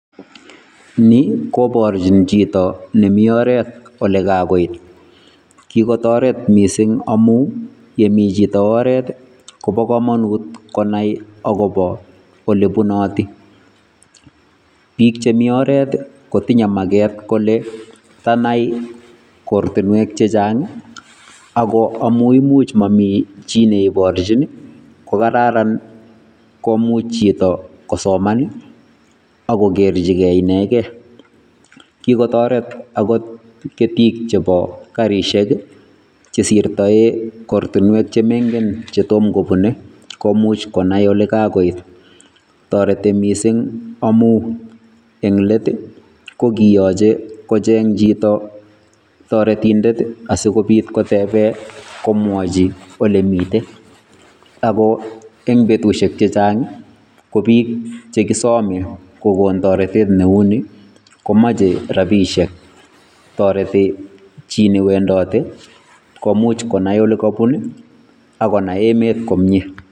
ni koborjin jito nemi oret olegagoit, kikotoret missing amun yemi jito oret kobokomonut konai agobo olebunoti, biik chemi oret kotinye mageet kole tanai ortinwek jechang ago imuch komamiten jii neiborjin kokararan imuch jito kosoman ak kogerjigen inegen, kikotoret akot ketik chebo karisiek chesirtoen ortinwek chemoingen chetomkobune komuch konai olegagoit, toreti missing amun eng leet kokiyoche kocheng jito toretinden asigobit koteben komwoji olemiten, agoi en betusiek chejang ko bik chegisome kigon toretet neumi komache rabishiek, toreti ji newendote konai olegobun ak konai emeet komye.